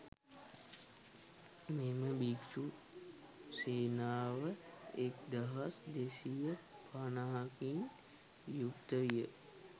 මෙම භික්ෂූ සේනාව එක්දහස් දෙසිය පනහකින් යුක්ත විය.